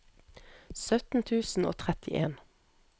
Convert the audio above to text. sytten tusen og trettien